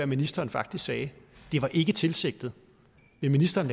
ministeren faktisk sagde det var ikke tilsigtet vil ministeren